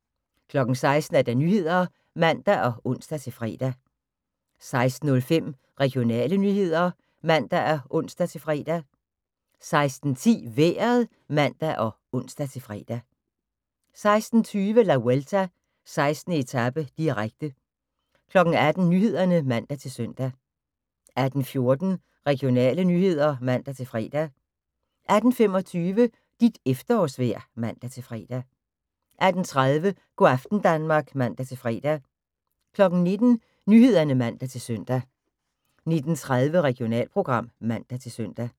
16:00: Nyhederne (man og ons-fre) 16:05: Regionale nyheder (man og ons-fre) 16:10: Vejret (man og ons-fre) 16:20: La Vuelta: 16. etape, direkte 18:00: Nyhederne (man-søn) 18:14: Regionale nyheder (man-fre) 18:25: Dit efterårsvejr (man-fre) 18:30: Go' aften Danmark (man-fre) 19:00: Nyhederne (man-søn) 19:30: Regionalprogram (man-søn)